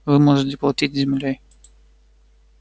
вы можете платить землёй